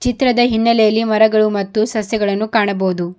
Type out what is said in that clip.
ಚಿತ್ರದ ಹಿನ್ನಲೆಯಲ್ಲಿ ಮರಗಳು ಮತ್ತು ಸಸ್ಯಗಳನ್ನು ಕಾಣಬಹುದು.